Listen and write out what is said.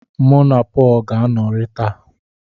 Mụ na Pọl ga-anọrị taa.